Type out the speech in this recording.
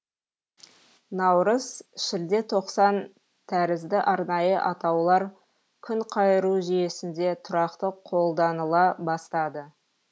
наурыз шілде тоқсан тәрізді арнайы атаулар күнқайыру жүйесінде тұрақты қолданыла бастады